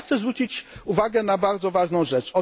Ale ja chcę zwrócić uwagę na bardzo ważna rzecz.